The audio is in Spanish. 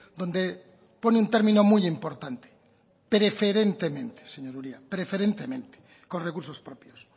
donde pone un término muy importante preferentemente con recursos propios